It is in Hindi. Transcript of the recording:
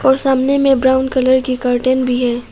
और सामने में ब्राउन कलर की कर्टन भी है।